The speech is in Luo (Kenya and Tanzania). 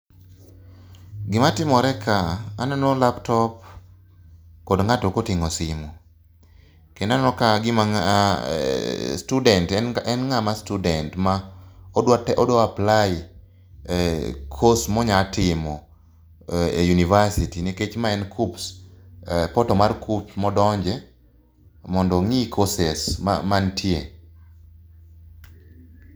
Gima timore kae, aneno laptop kendo ng'ato mkoting'o simu, kendo aneno ka gima e student en ng'ama student ma odwa te aodwa apply course monyatimo e university nikech ma en KUCCPS, portal mar KUCCPS modonje ong'i courses mantie.